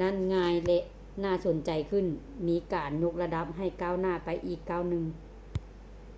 ນັ້ນງ່າຍ ແລະ ໜ້າສົນໃຈຂຶ້ນ ມີການຍົກລະດັບໃຫ້ກ້າວໜ້າໄປອີກກ້າວໜຶ່ງ